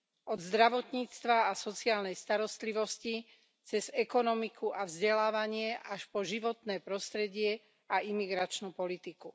Od zdravotníctva a sociálnej starostlivosti cez ekonomiku a vzdelávanie až po životné prostredie a imigračnú politiku.